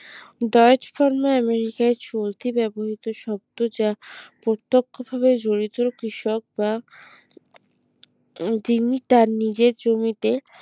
দয়েজ pharma আমেরিকার চলতি ব্যবহৃত শব্দ যা প্রত্যক্ষভাবে জড়িত কৃষক বা যিনি তার নিজের জমিতে